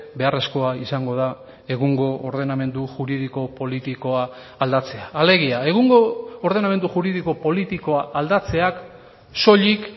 beharrezkoa izango da egungo ordenamendu juridiko politikoa aldatzea alegia egungo ordenamendu juridiko politikoa aldatzeak soilik